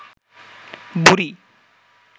বুড়ি